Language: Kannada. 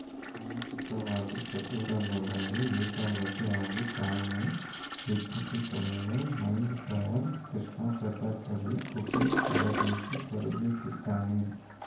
ಮಾನಸಿಕವಾಗಿ ಸದೃಢಗೊಳ್ಳಲು ಏಕಾಗ್ರತೆ ಹಾಗೂ ತಾಳ್ಮೆ ಹೆಚ್ಚಿಸಿಕೊಳ್ಳಲು ಮೈಂಡ್‌ ಟ್ರೈನರ್‌ ಕೃಷ್ಣಪ್ರಸಾದ್‌ ಬಳಿ ಗುಕೇಶ್‌ ತರಬೇತಿ ಪಡೆಯುತ್ತಿದ್ದಾನೆ